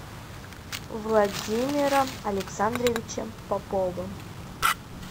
владимиром александровичем поповым